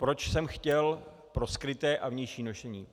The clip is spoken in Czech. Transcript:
Proč jsem chtěl pro skryté a vnější nošení.